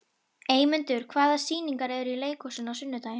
Eymundur, hvaða sýningar eru í leikhúsinu á sunnudaginn?